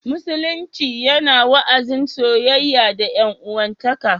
Musulunci yana wa'azin soyayya da 'yan'uwantaka